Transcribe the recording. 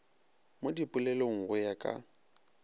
mo dipolelong go ya ka